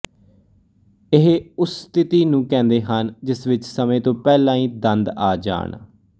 ਇਹ ਉਸ ਸਥਿਤੀ ਨੂੰ ਕਹਿੰਦੇ ਹਨ ਜਿਸ ਵਿੱਚ ਸਮੇਂ ਤੋਂ ਪਹਿਲਾਂ ਹੀ ਦੰਦ ਆ ਜਾਣ